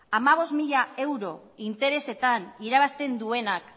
hamabost mila euro interesetan irabazten duenak